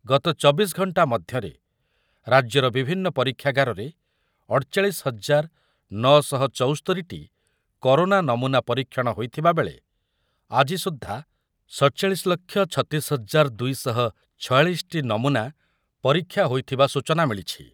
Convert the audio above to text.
ଗତ ଚବିଶ ଘଣ୍ଟା ମଧ୍ୟରେ ରାଜ୍ୟର ବିଭିନ୍ନ ପରୀକ୍ଷାଗାରରେ ଅଠଚାଳିଶ ହଜାର ନଅ ଶହ ଚୌସ୍ତୋରି ଟି କରୋନା ନମୂନା ପରୀକ୍ଷଣ ହୋଇଥିବାବେଳେ ଆଜି ସୁଦ୍ଧା ସତଚାଳିଶ ଲକ୍ଷ ଛତିଶ ହଜାର ଦୁଇ ଶହ ଛୟାଳିଶ ଟି ନମୂନା ପରୀକ୍ଷା ହୋଇଥିବା ସୂଚନା ମିଳିଛି।